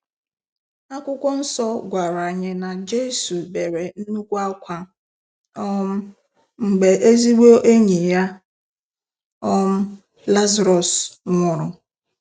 Akwụkwọ nsọ gwara Anyị na Jesu bere nnukwu akwa um mgbe ezigbo enyi ya um Lazarus nwụrụ